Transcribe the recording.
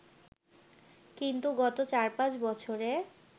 কিন্তু গত চার-পাঁচ বছরে